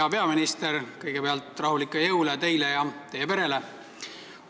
Hea peaminister, kõigepealt rahulikke jõule teile ja teie perele!